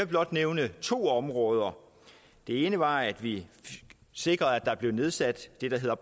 blot nævne to områder det ene var at vi sikrede at der blev nedsat det der hedder